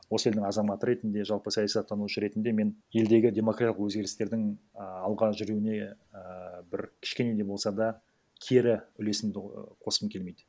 осы елдің азаматы ретінде жалпы саясаттанушы ретінде мен елдегі демократиялық өзгерістердің і алға жүруіне ііі бір кішкене де болса да кері үлесімді қосқым келмейді